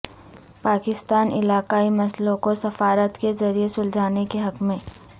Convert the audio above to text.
پاکستان علاقائی مسئلوں کو سفارت کے ذریعہ سلجھانے کے حق میں